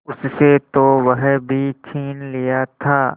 उससे तो वह भी छीन लिया था